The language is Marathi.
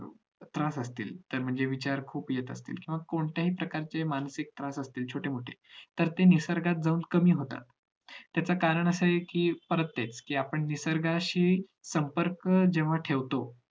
त्रास असतील म्हणजे विचार खुप येत असतील किंवा कोणत्या हि प्रकारची मानसिक त्रास असतील छोटे मोठे तर ते निसर्गात जाऊन कमी होतात त्याच कारण असं आहे कि परत तेच कि आपण निसर्गाशी संपर्क जेव्हा ठेवतो